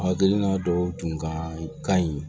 A hakilina dɔw tun ka ɲi